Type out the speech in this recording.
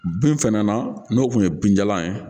Bin fɛnɛ na n'o kun ye bin jalan ye